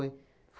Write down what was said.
Foi.